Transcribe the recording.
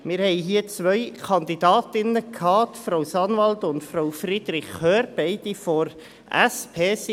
Wir hatten hier zwei Kandidatinnen: Frau Sanwald und Frau Friederich Hörr, beide von der SP.